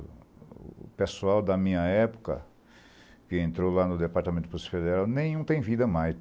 O pessoal da minha época, que entrou lá no Departamento de Polícia Federal, nenhum tem vida mais.